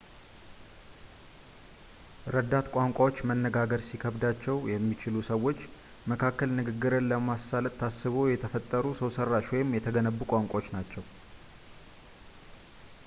ረዳት ቋንቋዎች መነጋገር ሊከብዳቸው በሚችሉ ሰዎች መካከል ንግግርን ለማሳለጥ ታስበው የተፈጠሩ ሰውሰራሽ ወይም የተገነቡ ቋንቋዎች ናቸው